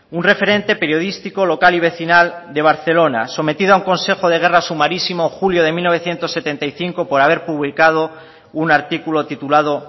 un referente periodístico local y vecinal de barcelona sometido a un consejo de guerra sumarísimo julio de mil novecientos setenta y cinco por haber publicado un artículo titulado